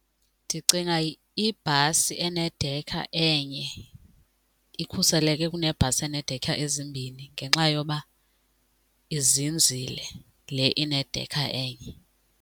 Ndicinga ibhasi enedekha enye ikhuseleke kunebhasi eneedekha ezimbini ngenxa yoba izinzile le inedekha enye.